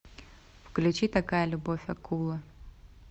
включи такая любовь акулы